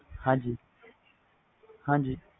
ਹਾਜੀ